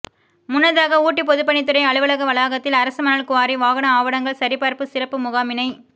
முன்னதாக ஊட்டி பொதுப்பணித்துறை அலுவலக வளாகத்தில் அரசு மணல் குவாரி வாகன ஆவணங்கள் சரிபார்ப்பு சிறப்பு முகாமினை